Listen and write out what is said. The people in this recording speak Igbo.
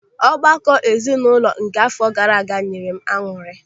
Ọgbakọ ezinụlọ nke àfọ gaara aga nyere m añụrị.